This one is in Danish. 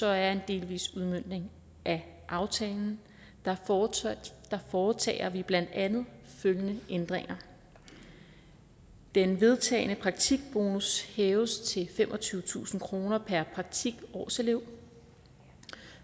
er en delvis udmøntning af aftalen foretager vi blandt andet følgende ændringer den vedtagne praktikbonus hæves til femogtyvetusind kroner per praktikårselev